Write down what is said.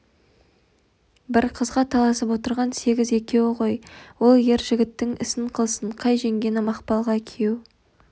бір қызға таласып отырған сегіз екеуі ғой ол ер жігіттің ісін қылсын қай жеңгені мақпалға куйеу